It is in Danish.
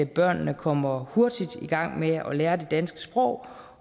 børnene kommer hurtigt i gang med at lære det danske sprog